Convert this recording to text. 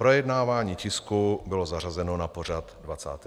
Projednávání tisku bylo zařazeno na pořad 25. schůze.